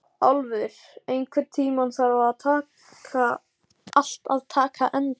Álfur, einhvern tímann þarf allt að taka enda.